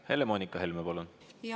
Helle-Moonika Helme, palun!